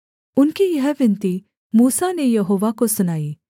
उनकी यह विनती मूसा ने यहोवा को सुनाई